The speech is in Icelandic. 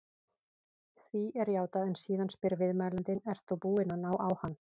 Því er játað en síðan spyr viðmælandinn: Ert þú búinn að ná á hann?